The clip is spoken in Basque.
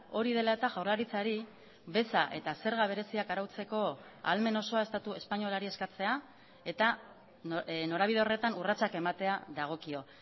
hori dela eta jaurlaritzari beza eta zerga bereziak arautzeko ahalmen osoa estatu espainolari eskatzea eta norabide horretan urratsak ematea dagokio